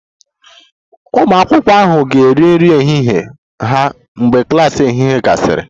Ụmụ akwụkwọ ahụ ga-eri nri ehihie ha mgbe klas ehihie gasịrị